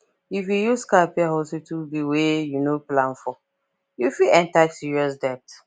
if you use card pay hospital bill wey you no plan foryou fit enter serious debt